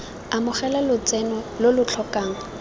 amogela lotseno lo lo tlhokang